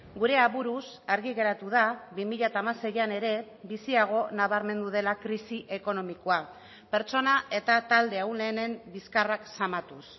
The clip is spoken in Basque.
gure aburuz argi geratu da bi mila hamaseian ere biziago nabarmendu dela krisi ekonomikoa pertsona eta talde ahulenen bizkarrak zamatuz